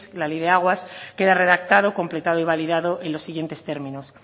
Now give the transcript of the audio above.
la ley de aguas queda redactado completado y validado en los siguientes términos